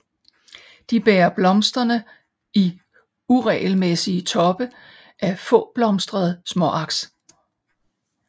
De bærer blomsterne i uregelmæssige toppe af fåblomstrede småaks